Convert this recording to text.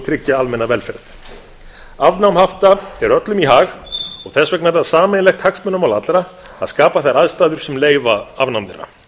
tryggja almenna velferð afnám hafta er öllum í hag og þess vegna er það sameiginlegt hagsmunamál allra að skapa þær aðstæður sem leyfa afnám þeirra